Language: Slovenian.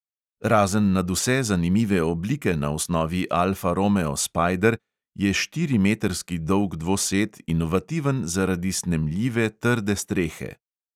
Razen nadvse zanimive oblike na osnovi alfa romeo spajder je štirimetrski dolg dvosed inovativen zaradi snemljive trde strehe.